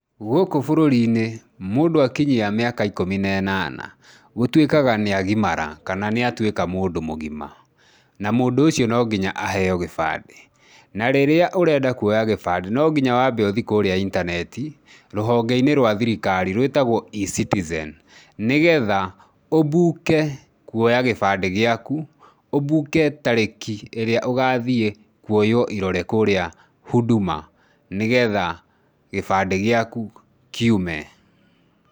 Gũkũ bũrũri -inĩ mũndũ akinyia mĩaka ĩkũmĩ na ĩnana gũtuĩkaga nĩ agimara kana nĩ atuĩka mũndũ mũgima na mũndũ ũcio nonginya aheyo gĩbandĩ. Na rĩrĩa ũrenda kuoya gĩbandĩ no nginya wambe ũthiĩ kũria intaneti rũhonge-inĩ rwa thirikari rũĩtagwo E-Citizen nĩgetha ũmbuke kuoya gĩbandĩ gĩaku, ũmbuke tarĩki ĩria ũgathiĩ kũoywo ĩrore kũrĩa Huduma nĩgetha gĩbandĩ gĩaku kiume.